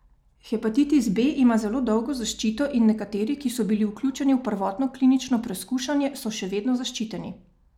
Hepatitis B ima zelo dolgo zaščito in nekateri, ki so bili vključeni v prvotno klinično preskušanje, so še vedno zaščiteni.